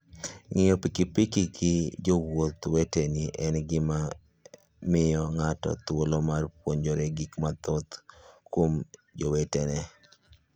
Ng'iyo pikipiki gi jowuoth weteni en gima miyo ng'ato thuolo mar puonjore gik mathoth kuom jowetene.